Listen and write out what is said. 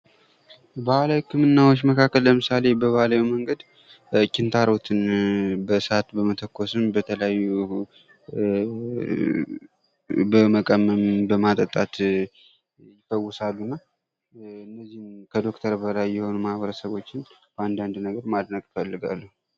ባህላዊ ህክምናዎች መካከል ለምሳሌ ኪንታሮትን በእሳት በመተኮስ በተለያዩ በመቀመም በማጠጣት ይፈወሳሉ እነዚህ ከዶክተር በላይ የሆኑ ማህበረሰቦችን ማድነቅ እፈልጋለሁ ።